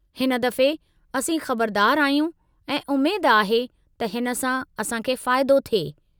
हिन दफ़े, असीं ख़बरदार आहियूं, ऐं उमेद आहे त हिन सां असां खे फ़ाइदो थिए।